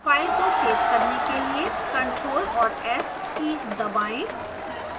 file को save करने के लिए crtl और s कीज दबाएं